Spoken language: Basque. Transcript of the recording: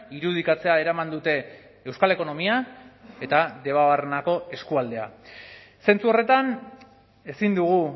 irudikatzea eraman dute euskal ekonomia eta debabarrenako eskualdea zentzu horretan ezin dugu